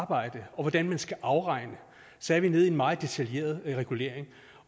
arbejde og hvordan den skal afregne så er vi nede i en meget detaljeret regulering